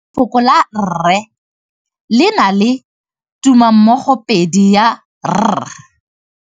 Lefoko la rre le na le tumammogôpedi ya, r.